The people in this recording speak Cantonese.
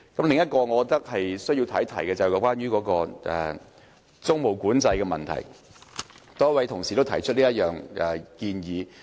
另一點我認為需要談及的是租務管制，多位同事都提出這項建議。